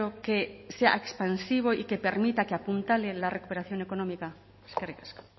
que sea expansivo y que permita que apuntale la recuperación económica eskerrik asko